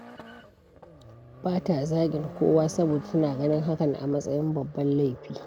Ba ta zagin kowa, saboda tana ganin hakan a matsayin babban laifi.